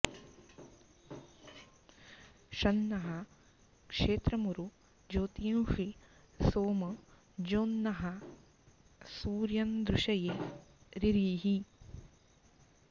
शं नः क्षेत्रमुरु ज्योतींषि सोम ज्योङ्नः सूर्यं दृशये रिरीहि